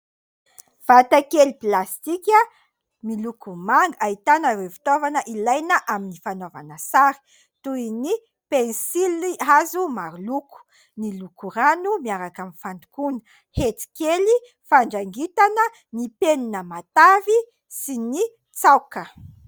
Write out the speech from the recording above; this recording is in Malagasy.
Vata kely plastika miloko manga ahitana ireo fitaovana ilaina amin'ny fanaovana sary toy ny pensily hazo maro loko, ny lokorano miaraka amin'ny fandokona, hetikely, fandrangitana, ny mpenina matavy sy ny tsaoka.